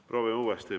Proovime uuesti.